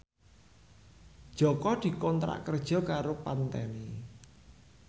Jaka dikontrak kerja karo Pantene